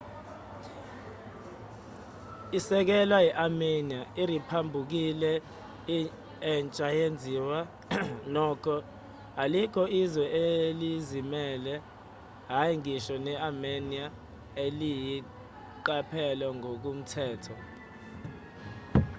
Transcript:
isekelwa i-armenia iriphabhuliki entsha yenziwa nokho alikho izwe elizimele hhayi ngisho ne-armenia eliyiqaphele ngokomthetho